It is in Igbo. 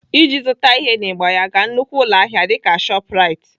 Iji zụta ihe n'ịgba ya, gaa nnukwu ụlọahịa dịka Shoprite.